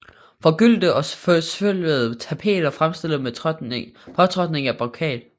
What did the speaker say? Forgyldte og forsølvede tapeter fremstilles ved påtrykning af brokat